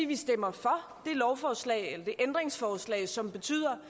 vi stemmer for det lovforslag eller det ændringsforslag som betyder